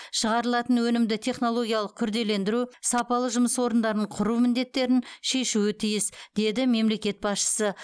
шығарылатын өнімді технологиялық күрделендіру сапалы жұмыс орындарын құру міндеттерін шешуі тиіс деді мемлекет басшысы